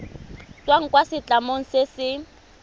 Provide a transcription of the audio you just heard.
tswang kwa setlamong se se